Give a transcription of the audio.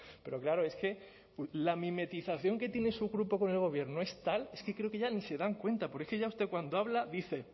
pero claro es que la mimetización que tiene su grupo con el gobierno es tal es que creo que ya ni se dan cuenta porque es que ya usted cuando habla dice